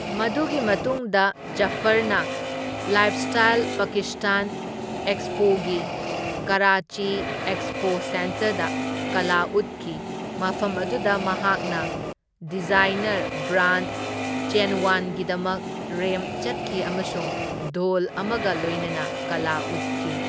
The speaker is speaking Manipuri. ꯃꯗꯨꯒꯤ ꯃꯇꯨꯡꯗ ꯖꯐꯔꯅ ꯂꯥꯏꯐꯁ꯭ꯇꯥꯏꯜ ꯄꯥꯀꯤꯁꯇꯥꯟ ꯑꯦꯛꯁꯄꯣꯒꯤ ꯀꯔꯥꯆꯤ ꯑꯦꯛꯁꯄꯣ ꯁꯦꯟꯇꯔꯗ ꯀꯂꯥ ꯎꯠꯈꯤ, ꯃꯐꯝ ꯑꯗꯨꯗ ꯃꯍꯥꯛꯅ ꯗꯤꯖꯥꯏꯅꯔ ꯕ꯭ꯔꯥꯟꯗ ꯆꯦꯟꯋꯥꯟꯒꯤꯗꯃꯛ ꯔꯦꯝꯞ ꯆꯠꯈꯤ ꯑꯃꯁꯨꯡ ꯙꯣꯜ ꯑꯃꯒ ꯂꯣꯏꯅꯅ ꯀꯂꯥ ꯎꯠꯈꯤ꯫